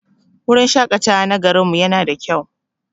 Wurin shaƙatawa na garin mu yana da kyau.